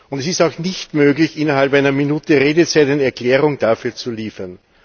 Es ist auch nicht möglich, innerhalb einer Minute Redezeit eine Erklärung dafür zu liefern.